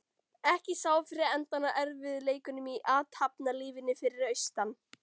Ekki sá fyrir endann á erfiðleikunum í athafnalífinu fyrir austan.